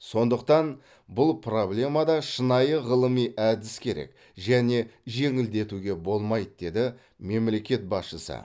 сондықтан бұл проблемада шынайы ғылыми әдіс керек және жеңілдетуге болмайды деді мемлекет басшысы